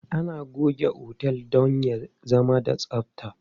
Ana goge otel don ya zama da tsabta.